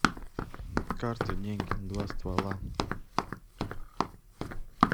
карты деньги два ствола